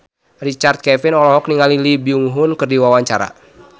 Richard Kevin olohok ningali Lee Byung Hun keur diwawancara